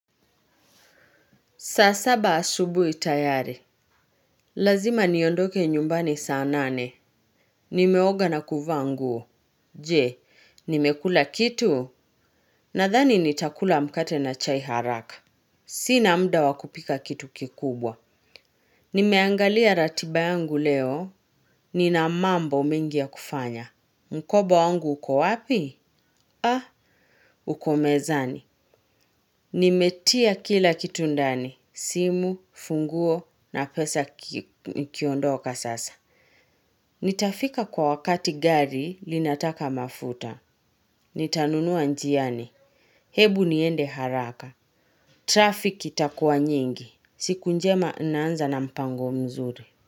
Saa saba asubui tayari. Lazima niondoke nyumbani saa nane. Nimeoga na kuvaa nguo. Je, nimekula kitu? Nathani nitakula mkate na chai haraka. Sina muda wakupika kitu kikubwa. Nimeangalia ratiba yangu leo. Nina mambo mengi ya kufanya. Mkoba wangu uko wapi? Uko mezani. Nimetia kila kitu ndani, simu, funguo na pesa kiondoka sasa. Nitafika kwa wakati gari linataka mafuta. Nitanunua njiani. Hebu niende haraka. Traffic itakuwa nyingi. Siku njema naanza na mpango mzuri.